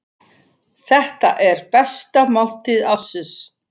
Þetta er besta máltíð ársins.